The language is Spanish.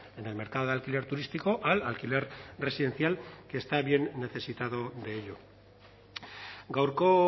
en el mercado de alquiler turístico al alquiler residencial que está bien necesitado de ello gaurko